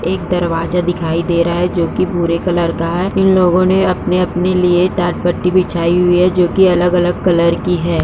एक दरवाजा दिखाई दे रहा है जोकि भूरे कलर का है। इन लोगों ने अपने-अपने लिए डाटपट्टी बिछाई हुई है जोकि अलग-अलग कलर की है।